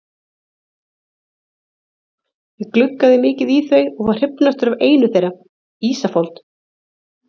Ég gluggaði mikið í þau og var hrifnastur af einu þeirra, Ísafold.